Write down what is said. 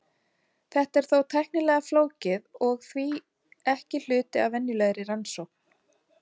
Þetta er þó tæknilega flókið og er því ekki hluti af venjulegri rannsókn.